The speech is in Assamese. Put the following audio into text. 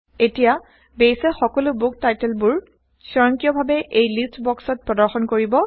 এতিয়া বেইছে সকলো160বুক টাইটলবোৰ স্বয়ংক্ৰিয়ভাবে এই লিষ্ট বক্সত প্ৰদৰ্শন কৰিব